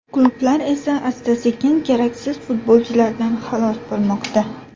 Klublar esa asta-sekin keraksiz futbolchilardan xalos bo‘lmoqda.